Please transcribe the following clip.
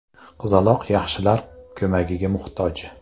Qizaloq yaxshilar ko‘magiga muhtoj.